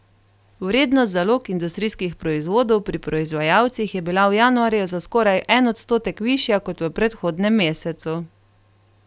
Vrednost zalog industrijskih proizvodov pri proizvajalcih je bila v januarju za skoraj en odstotek višja kot v predhodnem mesecu.